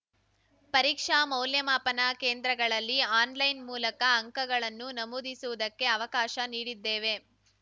ಪರೀಕ್ಷಾ ಮೌಲ್ಯಮಾಪನ ಕೇಂದ್ರಗಳಲ್ಲಿ ಆನ್‌ಲೈನ್‌ ಮೂಲಕ ಅಂಕಗಳನ್ನು ನಮೂದಿಸುವುದಕ್ಕೆ ಅವಕಾಶ ನೀಡಿದ್ದೇವೆ